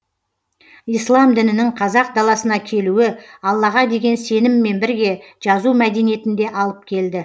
ислам дінінің қазақ даласына келуі аллаға деген сеніммен бірге жазу мәдениетін де алып келді